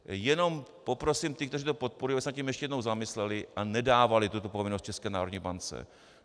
Jenom poprosím ty, kteří to podporují, aby se nad tím ještě jednou zamysleli a nedávali tuto povinnost České národní bance.